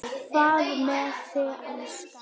Hvað með þig, elskan.